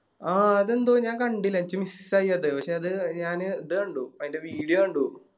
അതിണ്ട് ഞാൻ കണ്ടീല എനിക്ക് Miss ആയി അത് പക്ഷെ ഇത് ഞാന് ഇത് കണ്ടു അയിൻറെ Video കണ്ടു